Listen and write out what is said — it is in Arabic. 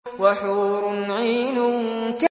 وَحُورٌ عِينٌ